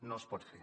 no es pot fer